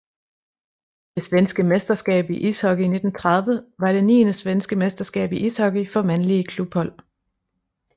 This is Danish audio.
Det svenske mesterskab i ishockey 1930 var det niende svenske mesterskab i ishockey for mandlige klubhold